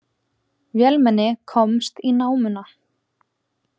Vélmenni komst í námuna